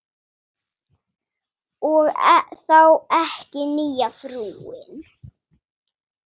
Og þá ekki nýja frúin.